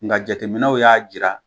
Nga jateminɛw y'a jira